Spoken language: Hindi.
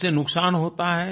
उससे नुकसान होता है